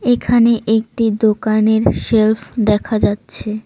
এখানে একটি দোকানের সেল্ফ দেখা যাচ্ছে।